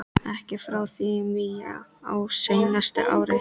Ekki frá því í maí á seinasta ári.